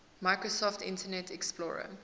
microsoft internet explorer